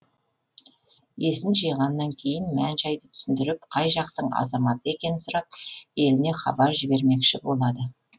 есін жиғаннан кейін мән жайды түсіндіріп қай жақтың азаматы екенін сұрап еліне хабар жібермекші болады